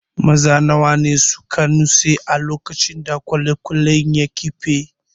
Maza nawa ne suka nutse a lokacin da kwale-kwalen ya kife?